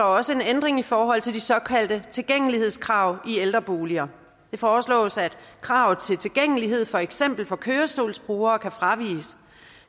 også en ændring i forhold til de såkaldte tilgængelighedskrav i ældreboliger det foreslås at kravet til tilgængelighed for eksempel for kørestolsbrugere kan fraviges